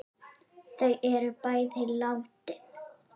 Þau er bæði látin.